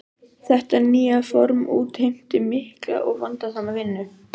Þetta nýja form útheimti mikla og vandasama vinnu.